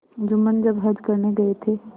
जुम्मन जब हज करने गये थे